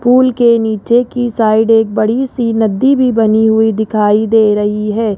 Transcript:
Pool के नीचे की साइड एक बड़ी सी नदी भी बनी हुई दिखाई दे रही है।